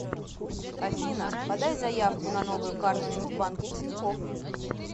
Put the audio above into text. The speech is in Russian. афина подай заявку на новую карточку в банке тинькофф